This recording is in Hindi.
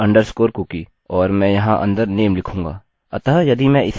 और मैं यहाँ अंदर name लिखूँगा